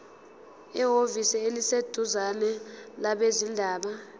ehhovisi eliseduzane labezindaba